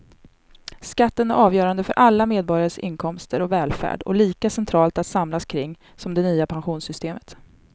Skatten är avgörande för alla medborgares inkomster och välfärd och lika centralt att samlas kring som det nya pensionssystemet.